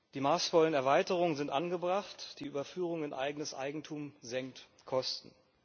Die maßvollen Erweiterungen sind angebracht, die Überführung in eigenes Eigentum senkt Kosten.